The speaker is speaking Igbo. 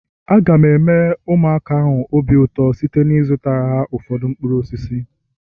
Aga m eme ụmụaka ahụ obi ụtọ site n'ịzụtara ha ụfọdụ mkpụrụ osisi